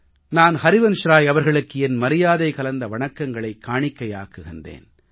நான் ஹரிவன்ஷ்ராய் அவர்களுக்கு என் மரியாதை கலந்த வணக்கங்களைக் காணிக்கையாக்குகிறேன்